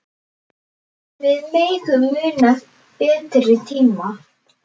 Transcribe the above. Við megum muna betri tíma.